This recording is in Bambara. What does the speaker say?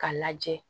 K'a lajɛ